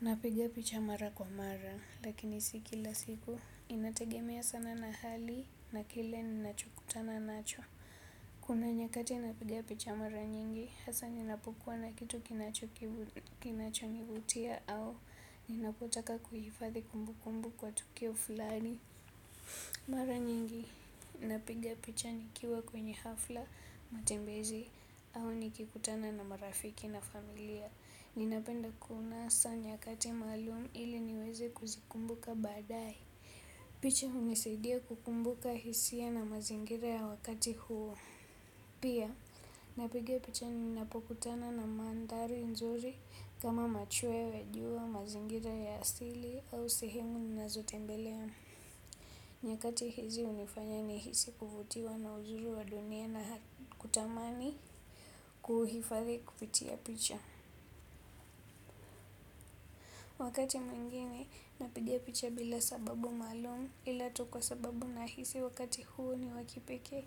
Napiga picha mara kwa mara lakini si kila siku. Inategemea sana na hali na kile ninacho kutana nacho. Kuna nyakati napiga picha mara nyingi hasa ninapukwa na kitu kinacho nivutia au ninapotaka kuhifadhi kumbu kumbu kwa tukio flani. Mara nyingi napiga picha nikiwa kwenye hafla, matembezi au nikikutana na marafiki na familia. Ninapenda kuunasa nyakati maalum ili niweze kuzikumbuka baadaye. Picha hunisidia kukumbuka hisia na mazingira ya wakati huu. Pia napiga picha ninapokutana na mandhari nzuri kama machwewe jua mazingira ya asili au sehemu ninazotembelea. Nyakati hizi hunifanya nihisi kuvutiwa na uzuri wa dunia na kutamani kuhifadhi kupitia picha. Wakati mwingine napiga picha bila sababu maalum ila tu kwa sababu nahisi wakati huu ni wa kipekee.